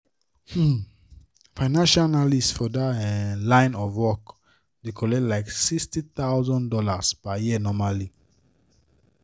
um financial analyst for that um line of work dey collect like $60000 per year normally